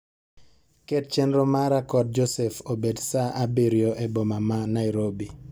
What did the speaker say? Ket chenro mara kod Joseph obed saa abirio e boma ma Nairobi.